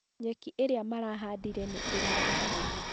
Nyeki ĩrĩa marahandire nĩ ĩrathakaria